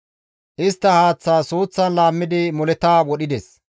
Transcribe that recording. Istta haaththa suuththan laammidi moleta wodhides.